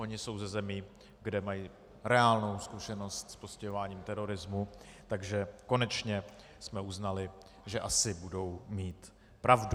Oni jsou ze zemí, kde mají reálnou zkušenost s postihováním terorismu, takže konečně jsme uznali, že asi budou mít pravdu.